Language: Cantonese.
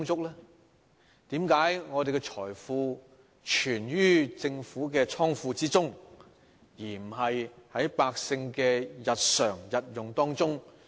為何我們的財富存於政府的庫房，而不是用於百姓的日常生活？